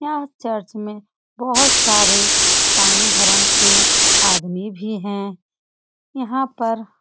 यह चर्च में बहुत सारे ईसाई धर्म के आदमी भी हैं। यहाँ पर --